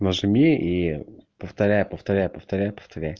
нажми и повторяй повторяй повторяй